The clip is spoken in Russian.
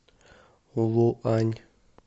луань